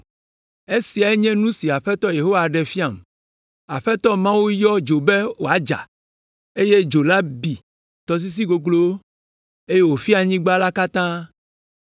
Esiae nye nu si Aƒetɔ Yehowa ɖe fiam: Aƒetɔ Mawu yɔ dzo be wòadza, eye dzo la bi tɔsisi goglowo, eye wòfia anyigba la katã.